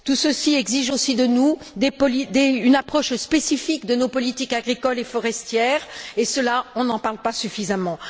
Tout ceci exige aussi de nous une approche spécifique de nos politiques agricoles et forestières, et de cela, on ne parle pas suffisamment.